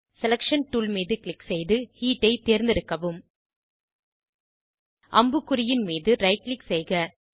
selection tool மீது click செய்து heat ஐ தேர்ந்தெடுக்கவும் அம்புக்குறியின் மீது ரைட் க்ளிக் செய்க